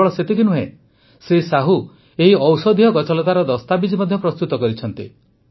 କେବଳ ସେତିକି ନୁହେଁ ଶ୍ରୀ ସାହୁ ଏହି ଔଷଧୀୟ ଗଛଲତାର ଦସ୍ତାବିଜ ମଧ୍ୟ ପ୍ରସ୍ତୁତ କରିଛନ୍ତି